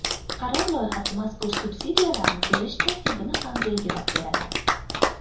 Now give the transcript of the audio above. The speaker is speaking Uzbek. Qaror loyihasi mazkur subsidiyalarni berish tartibini ham belgilab beradi.